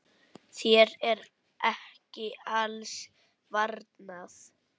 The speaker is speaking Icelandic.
Þér er ekki alls varnað.